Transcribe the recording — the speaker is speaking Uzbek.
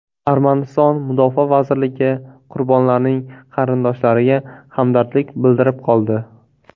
Armaniston mudofaa vazirligi qurbonlarning qarindoshlariga hamdardlik bildirib qoldi.